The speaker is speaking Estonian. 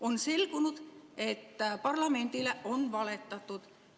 On selgunud, et parlamendile on valetatud.